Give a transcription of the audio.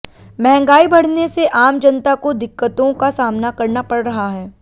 महंगाई बढ़ने से आम जनता को दिक्कतों का सामना करना पड़ रहा है